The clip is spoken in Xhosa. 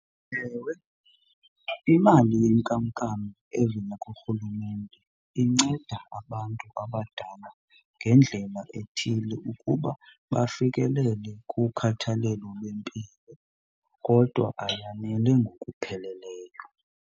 Ewe, imali yenkamnkam evela kurhulumente inceda abantu abadala ngendlela ethile ukuba bafikelele kukhathalelo lwempilo kodwa ayanele ngokupheleleyo.